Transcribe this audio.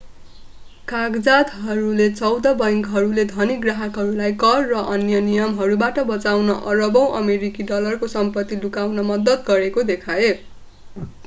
कागजातहरूले चौध बैंकहरूले धनी ग्राहकहरूलाई कर र अन्य नियमहरूबाट बचाउन अरबौँ अमेरिकी डलरको सम्पत्ति लुकाउन मद्दत गरेको देखाए